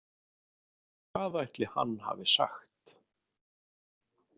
Hvað ætli hann hafi sagt?